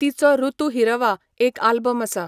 तिचो 'ऋुतू हिरवा' एक आल्बम आसा.